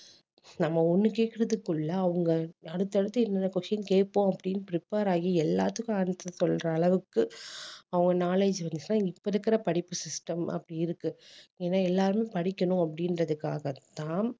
நம்ம ஒண்ணு கேட்கிறதுக்குள்ள அவங்க அடுத்தடுத்து என்னென்ன question கேட்போம் அப்படின்னு prepare ஆகி எல்லாத்துக்கும் answer சொல்ற அளவுக்கு அவங்க knowledge இப்ப இருக்கிற படிப்பு system அப்படி இருக்கு ஏன்னா எல்லாரும் படிக்கணும் அப்படின்றதுக்காகத்தான்